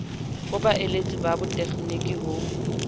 ho baeletsi ba botegniki ho